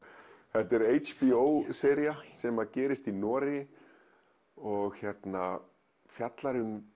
þetta er HBO sería sem gerist í Noregi og fjallar um